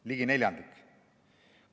Ligi neljandik!